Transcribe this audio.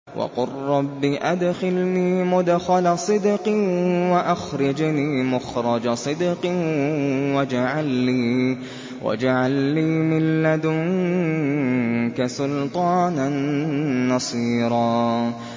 وَقُل رَّبِّ أَدْخِلْنِي مُدْخَلَ صِدْقٍ وَأَخْرِجْنِي مُخْرَجَ صِدْقٍ وَاجْعَل لِّي مِن لَّدُنكَ سُلْطَانًا نَّصِيرًا